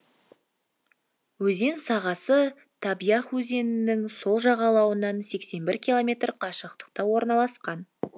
өзен сағасы таб ях өзенінің сол жағалауынан сексен бір километр қашықтықта орналасқан